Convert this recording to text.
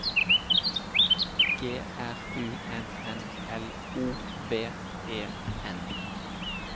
G R U N N L O V E N